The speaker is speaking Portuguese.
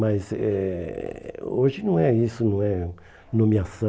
Mas eh hoje não é isso, não é nomeação.